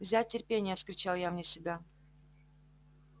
взять терпение вскричал я вне себя